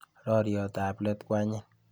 Roriotab let ko anyiny.